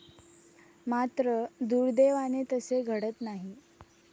मात्र, दुर्दैवाने तसे घडत नाही.